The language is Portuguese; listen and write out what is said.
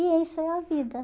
E isso é a vida.